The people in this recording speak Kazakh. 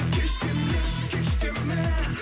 кеш демеші кеш деме